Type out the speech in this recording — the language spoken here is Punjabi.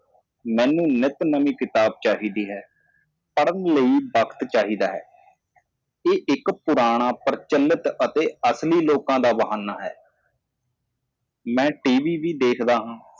ਮੈਨੂੰ ਹਮੇਸ਼ਾ ਇੱਕ ਨਵੀਂ ਕਿਤਾਬ ਚਾਹੀਦੀ ਹੈ ਅਧਿਐਨ ਕਰਨ ਲਈ ਸਮਾਂ ਚਾਹੀਦਾ ਹੈ ਇੱਕ ਪੁਰਾਣੇ ਜ਼ਮਾਨੇ ਅਤੇ ਅਸਲੀ ਲੋਕ ਬਹਾਨਾ ਮੈਂ ਟੀਵੀ ਵੀ ਦੇਖਦਾ ਹਾਂ